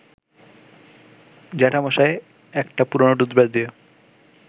জ্যাঠামশায় একটা পুরনো টুথব্রাশ দিয়ে